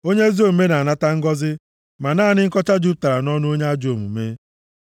Onye ezi omume na-anata ngọzị, ma naanị nkọcha jupụtara nʼọnụ onye ajọ omume.